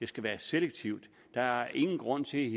skal være selektivt der er ingen grund til